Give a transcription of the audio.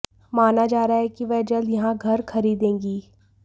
माना जा रहा है कि वह जल्द यहां घर खरीदेंगी